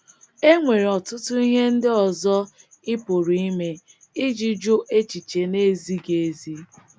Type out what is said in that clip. E nwere ọtụtụ ihe ndị ọzọ ị pụrụ ime iji jụ echiche na - ezighị ezi.